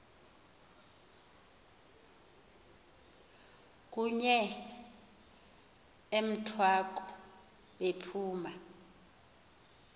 kunye emthwaku bephuma